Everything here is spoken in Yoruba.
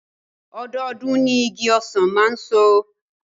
Ọdọọdún ni igi ọsàn máa ń so